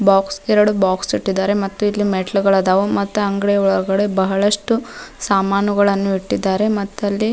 box ಎರಡು box ಇಟ್ಟಿದಾರೆ ಮೆತ್ತೆ ಇಲ್ಲಿ ಮೆಟ್ಟಿಲುಗಳು ಅದಾವು ಮತ್ತು ಅಂಗಡಿ ಒಳಗಡೆ ಬಹಳಷ್ಟು ಸಾಮಾನುಗಳನ್ನು ಇಟ್ಟಿದ್ದಾರೆ ಮತ್ತಿಲ್ಲಿ --